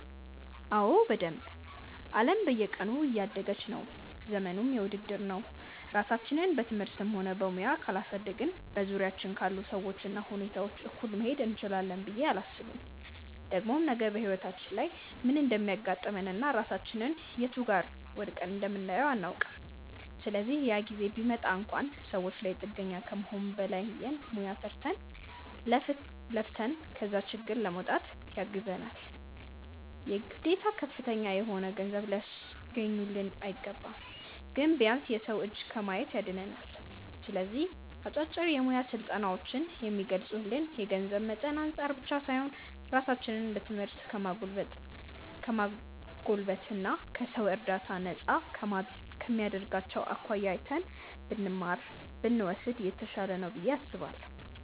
አዎ በደንብ። አለም በየቀኑ እያደገች ነው፤ ዘመኑም የውድድር ነው። ራሳችንን በትምህርትም ሆነ በሙያ ካላሳደግን በዙሪያችን ካሉ ሰዎች እና ሁኔታዎች እኩል መሄድ እንችላለን ብዬ አላስብም። ደግሞም ነገ በህይወታችን ላይ ምን እንደሚያጋጥመን እና ራሳችንን የቱ ጋር ወድቀን እንደምናየው አናውቅም። ስለዚህ ያ ጊዜ ቢመጣ እንኳን ሰዎች ላይ ጥገኛ ከመሆን ባለን ሙያ ሰርተን፣ ለፍተን ከዛ ችግር ለመውጣት ያግዘናል። የግዴታ ከፍተኛ የሆነ ገንዘብ ሊያስገኙልን አይገባም። ግን ቢያንስ የሰው እጅ ከማየት ያድነናል። ስለዚህ አጫጭር የሙያ ስልጠናዎችን ከሚስገኙልን የገንዘብ መጠን አንፃር ብቻ ሳይሆን ራሳችንን በትምህርት ከማጎልበት እና ከሰው እርዳታ ነፃ ከማድረጋቸው አኳያ አይተን ብንማር (ብንወስድ) የተሻለ ነው ብዬ አስባለሁ።